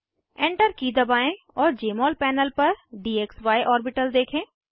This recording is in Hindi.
एंटर की दबाएं और जमोल पैनल पर डीएक्सी ऑर्बिटल देखें